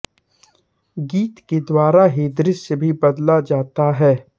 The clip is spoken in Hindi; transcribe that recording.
गीत के द्वारा ही दृश्य भी बदला जाता है